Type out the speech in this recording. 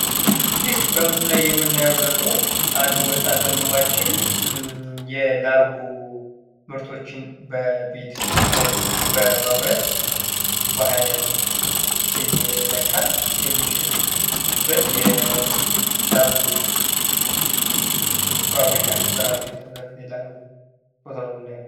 ይህ በምስሉ ላይ የምናየው ደግሞ አንድ ወንድማችን ላርጎ በቤት ውስጥ በማምረት በሃይላንድ እየለካ የሚሸጥ ሲሆን፤ ምስሉ በቤት ውስጥ የተዘጋጀችን የላርጎ ፋብሪካ ያሳያል።